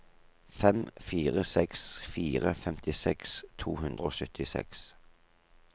fem fire seks fire femtiseks to hundre og syttiseks